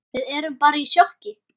Við erum bara í sjokki.